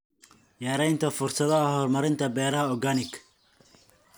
Yaraynta fursadaha horumarinta beeraha organic.